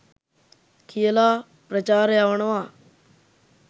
කියලා ප්‍රචාර යවනවා.